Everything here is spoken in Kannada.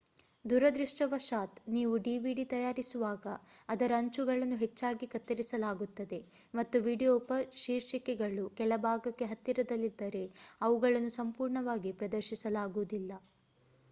ದುರದೃಷ್ಟವಶಾತ್ ನೀವು dvd ತಯಾರಿಸುವಾಗ ಅದರ ಅಂಚುಗಳನ್ನು ಹೆಚ್ಚಾಗಿ ಕತ್ತರಿಸಲಾಗುತ್ತದೆ ಮತ್ತು ವೀಡಿಯೊ ಉಪಶೀರ್ಷಿಕೆಗಳು ಕೆಳಭಾಗಕ್ಕೆ ಹತ್ತಿರದಲ್ಲಿದ್ದರೆ ಅವುಗಳನ್ನು ಸಂಪೂರ್ಣವಾಗಿ ಪ್ರದರ್ಶಿಸಲಾಗುವುದಿಲ್ಲ